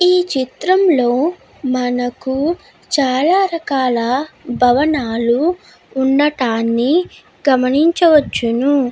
ఈ చిత్రం లో మనకు చాలా రకాల భవనాలు ఉండటాన్ని గమనించవచ్చును.